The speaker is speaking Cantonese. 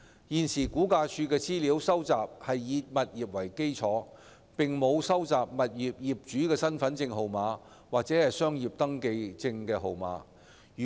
現時，估價署收集的資料是以物業為基礎，並沒有業主的身份證號碼或商業登記證號碼。